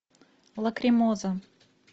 лакримоза